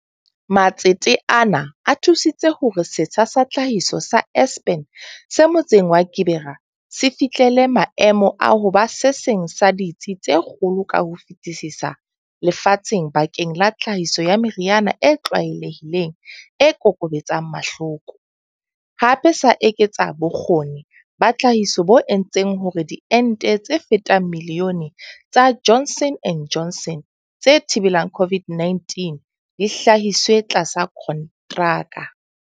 Matsete ana a thu sitse hore setsha sa tlhahiso sa Aspen se motseng wa Gqeberha se fihlele maemo a ho ba se seng sa ditsi tse kgolo ka ho fetisisa lefatsheng bakeng la tlhahiso ya meriana e tlwaelehileng e kokobetsang mahloko, hape sa eketsa bo kgoni ba tlhahiso bo entseng hore diente tse fetang milione tsa Johnson and Johnson tse thibelang COVID-19 di hlahiswe tlasa kontraka.